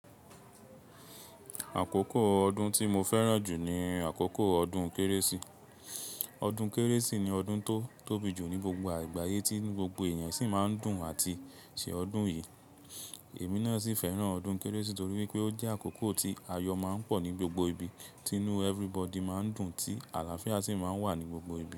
Àkókò ọdún tí mo fẹ́ràn jù jù ní àkókò ọdún kérésì. Ọdún kérésì ni ọdún tó tóbi jù ní gbogbo àgbáyé, tí gbogbo ènìyàn sì máa ń dùn àti ṣe ọdún yìí. Èmi náà sì fẹ́ràn ọdún kérésì torí wípé ó jẹ́ àkókò tí ayọ máa ń pọ̀ ní gbogbo ibi, tí inú everybody máa ń dùn, tí àlàáfíà sì máa ń wà ní gbogbo ibi.